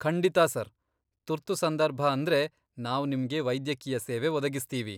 ಖಂಡಿತಾ ಸರ್, ತುರ್ತು ಸಂದರ್ಭ ಅಂದ್ರೆ ನಾವ್ ನಿಮ್ಗೆ ವೈದ್ಯಕೀಯ ಸೇವೆ ಒದಗಿಸ್ತೀವಿ.